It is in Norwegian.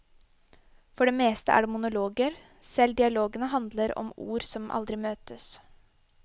For det meste er det monologer, selv dialogene handler om ord som aldri møtes.